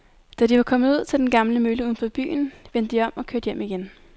Da de var kommet ud til den gamle mølle uden for byen, vendte de om og kørte hjem igen.